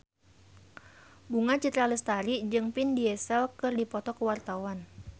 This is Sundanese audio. Bunga Citra Lestari jeung Vin Diesel keur dipoto ku wartawan